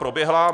Proběhla.